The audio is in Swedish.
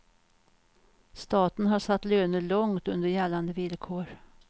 Staten har satt löner långt under gällande villkor.